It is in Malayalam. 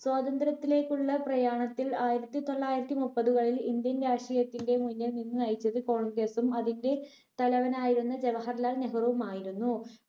സ്വാതന്ത്ര്യത്തിലേക്കുള്ള പ്രയാണത്തിൽ ആയിരത്തി തൊള്ളായിരത്തി മുപ്പതുകളിൽ indian രാഷ്‌ട്രീയത്തിന്റെ മുന്നിൽ നിന്ന് നയിച്ചത് congress ഉം അതിന്റെ തലവനായിരുന്ന ജവഹർലാൽ നെഹ്റുവുമായിരുന്നു